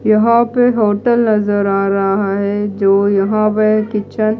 यहां पर होटल नजर आ रहा है जो यहां पर किचन --